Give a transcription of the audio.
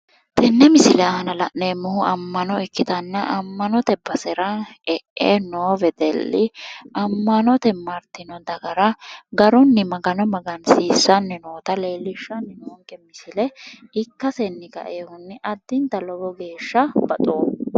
Tenne misile aana la'neemmohu ammano ikkitanna ammanote basera e'e moo wedelli ammanote martino dagara garunni magano magansiissanni noota leellishshanni noonke misile ikkasenni kaiwohunni addinta lowo geeshsha baxoomma.